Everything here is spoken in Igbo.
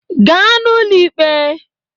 aa n'ụlọ ikpe!